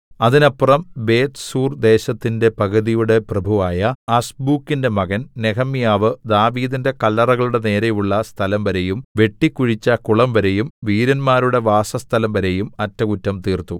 അതിനപ്പുറം ബേത്ത്സൂർദേശത്തിന്റെ പകുതിയുടെ പ്രഭുവായ അസ്ബൂക്കിന്റെ മകൻ നെഹെമ്യാവ് ദാവീദിന്റെ കല്ലറകളുടെ നേരെയുള്ള സ്ഥലംവരെയും വെട്ടിക്കുഴിച്ച കുളംവരെയും വീരന്മാരുടെ വാസസ്ഥലംവരെയും അറ്റകുറ്റം തീർത്തു